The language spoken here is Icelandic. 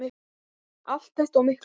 Allt þetta og miklu meira.